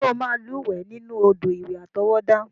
Ṣé o máa lúwẹ̀ẹ́ nínú odò ìwẹ̀ àtọwọ́dá?